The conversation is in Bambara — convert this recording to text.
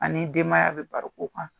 Ani denbaya bɛ baro k'o kan.